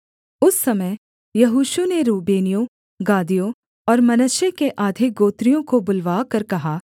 उस समय यहोशू ने रूबेनियों गादियों और मनश्शे के आधे गोत्रियों को बुलवाकर कहा